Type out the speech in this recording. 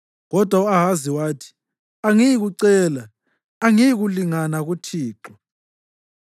Kodwa u-Ahazi wathi, “Angiyikucela. Angiyikulinga uThixo.”